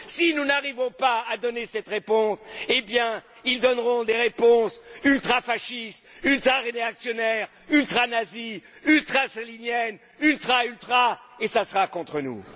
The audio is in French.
Si nous n'arrivons pas à donner cette réponse, ils donneront des réponses ultrafascistes, ultraréactionnaires, ultranazies, ultrastaliniennes, ultra, ultra et ce sera contre nous.